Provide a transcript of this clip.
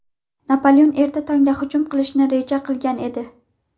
Napoleon erta tongda hujum qilishni reja qilgan edi.